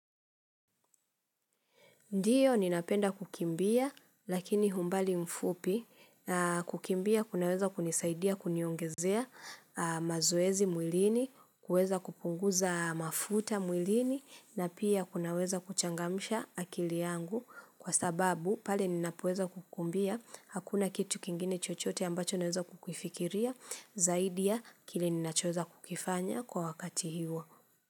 Ndiyo ninapenda kukimbia, lakini humbali mfupi. Na kukimbia kunaweza kunisaidia kuniongezea, a mazoezi mwilini, kuweza kupunguza mafuta mwilini na pia kunaweza kuchangamsha akili yangu kwa sababu, pale ninapoweza kukumbia, hakuna kitu kingine chochote ambacho naweza kukifikiria, zaidi ya kile nnachoeza kukifanya kwa wakati hiwo.